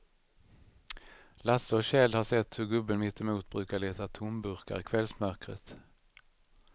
Lasse och Kjell har sett hur gubben mittemot brukar leta tomburkar i kvällsmörkret.